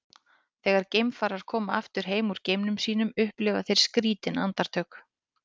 þegar geimfarar koma aftur heim úr geimferðum sínum upplifa þeir skrýtin andartök